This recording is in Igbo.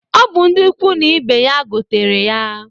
Ọ bụ ndị ukwu na ibe ya gotere ya.